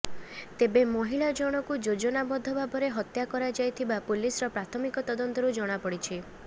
ତେବେ ମହିଳା ଜଣକୁ ଯୋଜନା ବଦ୍ଧ ଭାବରେ ହତ୍ୟା କରାଯାଇଥିବା ପୁଲିସର ପ୍ରାଥମିକ ତଦନ୍ତରୁ ଜଣାପଡିଛି